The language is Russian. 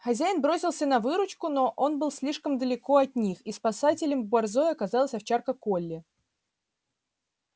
хозяин бросился на выручку но он был слишком далеко от них и спасителем борзой оказалась овчарка колли